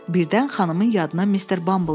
Birdən xanımın yadına Mister Bumble düşdü.